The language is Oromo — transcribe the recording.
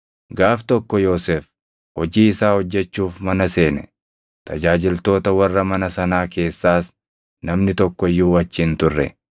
Gaaf tokko Yoosef hojii isaa hojjechuuf mana seene; tajaajiltoota warra mana sanaa keessaas namni tokko iyyuu achi hin turre.